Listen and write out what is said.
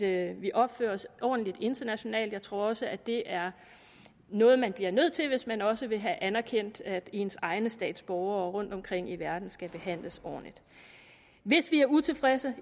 af at vi opfører os ordentligt internationalt jeg tror også det er noget man bliver nødt til hvis man også vil have anerkendt at ens egne statsborgere rundtomkring i verden skal behandles ordentligt hvis vi er utilfredse